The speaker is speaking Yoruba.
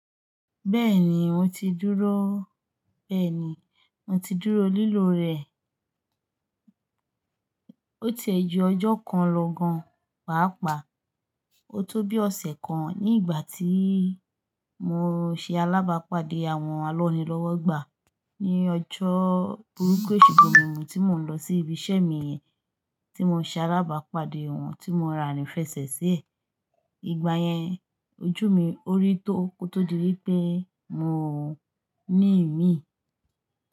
Bẹ́ẹ̀ni mo ti dúró, bẹ́ẹ̀ni mo ti dúró lílò rẹ, ó ti ẹ jù ọjọ́ kan lọ gan, pàápàá ó tó bí ọ̀sẹ̀ kan ní ìgbà tí mo ṣe alábàápàdé àwọn alọ́ ni lọ́wọ́ gbà ní ọjọ́ burúkú èṣù gbomimu tí mò ń lọ sí ibi iṣẹ́ mi yẹn, tí mo ṣe alábàápàdé òun tí mo rin arinfẹsẹ̀sí ẹ, ìgbà yẹn ojú mi ó rí tó tó di wípé mo ní ìmíì.